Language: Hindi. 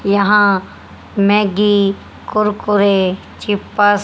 यहां मैगी कुरकुरे चिप्स --